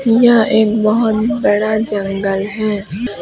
यह एक बहोत बड़ा जंगल है।